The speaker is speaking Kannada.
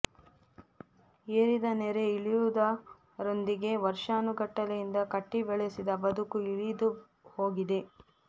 ಏರಿದ ನೆರೆ ಇಳಿಯುವುದ ರೊಂದಿಗೆ ವರ್ಷಾನುಗಟ್ಟಲೆಯಿಂದ ಕಟ್ಟಿ ಬೆಳೆಸಿದ ಬದುಕೂ ಇಳಿದುಹೋಗಿದೆ